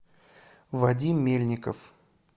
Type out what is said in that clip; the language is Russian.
вадим мельников